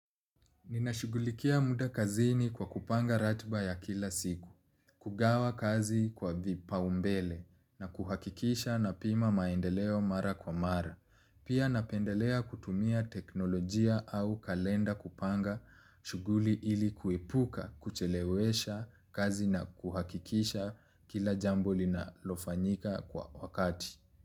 Ninashugulikia mda kazini kwa kupanga ratba ya kila siku, kugawa kazi kwa vipa umbele na kuhakikisha na pima maendeleo mara kwa mara. Pia napendelea kutumia teknolojia au kalenda kupanga shuguli ili kuipuka, kuchelewesha kazi na kuhakikisha kila jambo lina lofanyika kwa wakati.